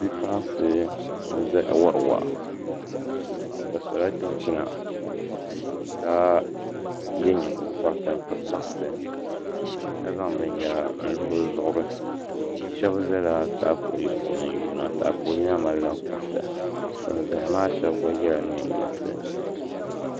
Bipuɣunsi n ʒɛya wori waa bi sola chinchina ka yɛ nyingokoriti n piri bansi ka zaŋ binyɛra n lo bi zuɣuri shab ʒɛla taapooli puuni n yuunda taapooli maa malila kuriti bin ʒɛya maa shab gba yɛla neen yinsi